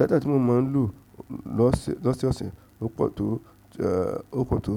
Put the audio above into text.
Data tí mo máa ń lò lọ́sẹ̀, lọ́sẹ̀ ọ̀sẹ̀, ó pọ̀ tó, eeh, ó pọ̀ tó,